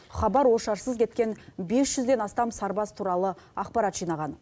хабар ошарсыз кеткен бес жүзден астам сарбаз туралы ақпарат жинаған